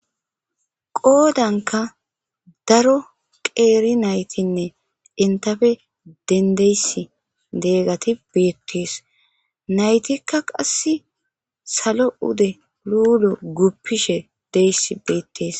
Qoodanka daro qeeri naytinne entafe dendeyss deegati beettees naytikka qass salo ude luulo guppishe deyss beettees.